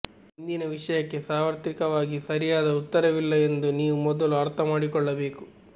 ಇಂದಿನ ವಿಷಯಕ್ಕೆ ಸಾರ್ವತ್ರಿಕವಾಗಿ ಸರಿಯಾದ ಉತ್ತರವಿಲ್ಲ ಎಂದು ನೀವು ಮೊದಲು ಅರ್ಥ ಮಾಡಿಕೊಳ್ಳಬೇಕು